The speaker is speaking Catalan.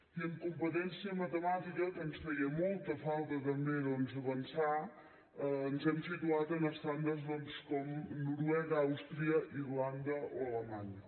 i en competència matemàtica en què ens feia molta falta també doncs avançar ens hem situat en estàndards com noruega àustria irlanda o alemanya